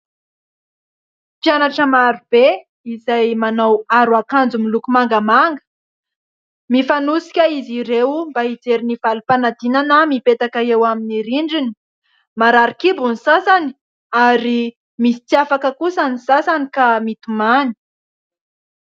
Mpianatra maro be izay manao aro akanjo miloko mangamanga. Mifanosika izy ireo mba hijery ny valim-panadinana mipetaka eo amin'ny rindrina. Marary kibo ny sasany ary misy tsy afaka kosa ny sasany ka mitomany.